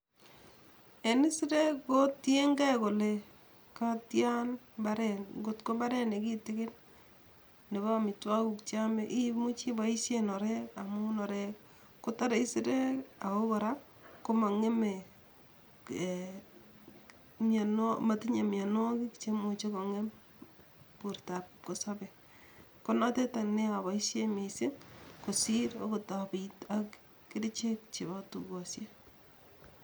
En isirek ko tienge kole katian mparet kot ko mparet nekitigin nepo amitwogikuk cheome imuchi ipoisyen orek amun orek kotore isirek ago kora komang'eme matinye mianwogiik cheimuche kong'em bortap kipkosobei ko notet any neoboisien misiing' kosiir agot apiit ak kerichek chepo tugosiek